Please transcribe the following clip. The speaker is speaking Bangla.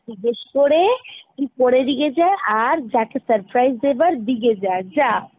জিজ্ঞেস করে তুই করে নিয়ে যা আর যাকে surprise দেবার দিয়ে যা, যা।